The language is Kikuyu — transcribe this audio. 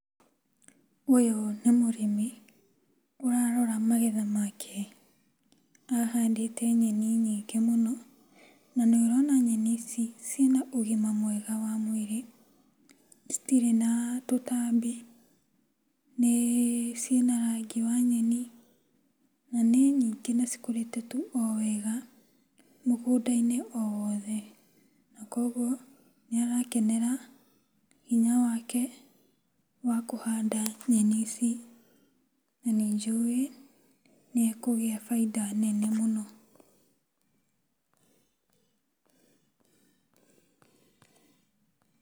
Ũyũ nĩ mũrĩmi ũrarora magetha make, ahandĩte nyeni nyingĩ mũno na nĩũrona nyeni ici ciĩna ũgima mwega wa mwĩrĩ, citirĩ na tũtambi, ciĩna rangi wa nyeni na nĩ nyingĩ na cikũrĩte tu o wega mũgũnda-inĩ o wothe na kũoguo nĩ arakenera hinya wake wa kũhanda nyeni ici na nĩnjũĩ nĩekũgĩa bainda nene mũno.